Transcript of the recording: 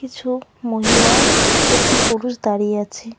কিছু মহিলা একটি পুরুষ দাঁড়িয়ে আছে।